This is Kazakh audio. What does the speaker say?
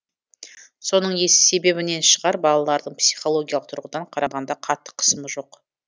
соның себебінен шығар балалардың психологиялық тұрғыдан қарағанда қатты қысымы жоқ